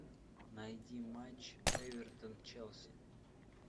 найди матч эвертон челси